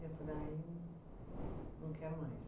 Eu falei, ah eu não quero mais.